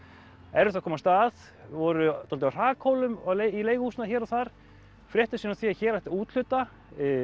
erfitt að komast að voru dálítið á hrakhólum í leiguhúsnæði hér og þar fréttu síðan af því að hér ætti að úthluta